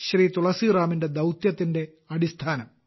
തുളസിറാമിന്റെ ദൌത്യത്തിന്റെ അടിസ്ഥാനം